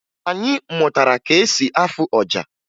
Anyị mụtara ka e si afụ ọja